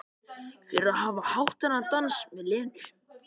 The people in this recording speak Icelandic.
Fyrir að hafa átt þennan dans með Lenu.